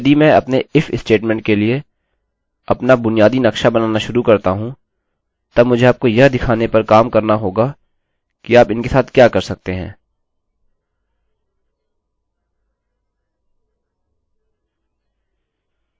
अब यदि मैं अपने if statement स्टेट्मेन्ट के लिए अपना बुनियादी नक्शा बनाना शुरू करता हूँ तब मुझे आपको यह दिखाने पर काम करना होगा कि आप इनके साथ क्या कर सकते हैं